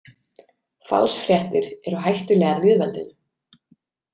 Falsfréttir eru hættulegar lýðveldinu.